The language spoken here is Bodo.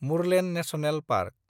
Murlen national park